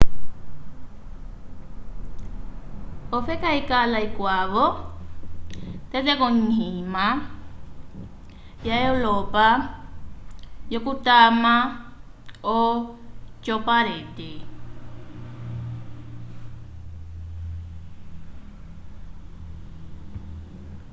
ofeka ikala ikwavo tete konyima ya europa yo kutama o cowparade